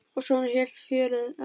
Og svona hélt fjörið áfram.